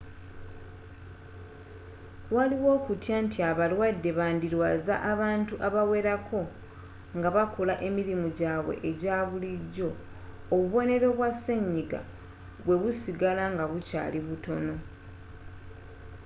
waliwo okutya nti abalwadde bandirwaza abantu abawerako nga bakola emirimu gyabwe egya bulijjo obubonero bwa senyiga bwe busigala nga bukyali butono